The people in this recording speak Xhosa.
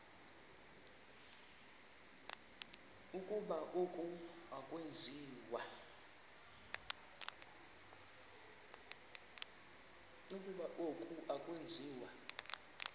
ukuba oku akwenziwa